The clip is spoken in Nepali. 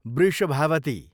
वृषभावती